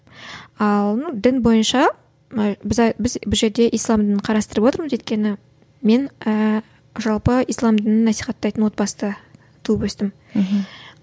ал ну дін бойынша біз бұл жерде ислам дінін қарастырып отырмыз өйткені мен ііі жалпы ислам дінін насихаттайтын отбасында туып өстім мхм